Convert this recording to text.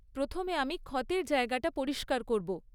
প্রথমে আমি ক্ষতের জায়গাটা পরিষ্কার করব।